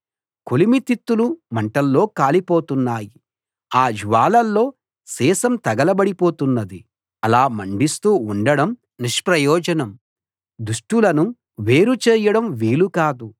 కొలిమి తిత్తులు మంటల్లో కాలిపోతున్నాయి ఆ జ్వాలల్లో సీసం తగలబడి పోతున్నది అలా మండిస్తూ ఉండడం నిష్ప్రయోజనం దుష్టులను వేరు చేయడం వీలు కాదు